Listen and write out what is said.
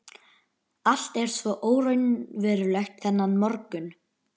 Allt er svo óraunverulegt þennan morgun.